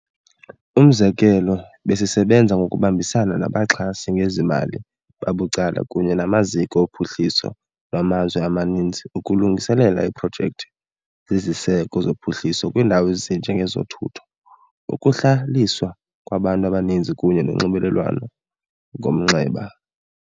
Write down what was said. Umzekelo, besisebenza ngokubambisana nabaxhasi ngezimali babucala kunye namaziko ophuhliso lwamazwe amaninzi ukulungiselela iiprojekthi zeziseko zophuhliso kwiindawo ezinje ngezothutho, ukuhlaliswa kwabantu, amanzi kunye nonxibelelwano ngomnxeba.